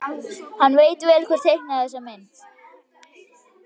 Hann veit vel hver teiknaði þessa mynd.